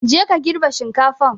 Je ka girbe shinkafan!